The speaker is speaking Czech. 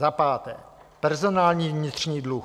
Za páté personální vnitřní dluh.